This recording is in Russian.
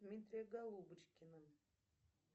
дмитрия голубочкина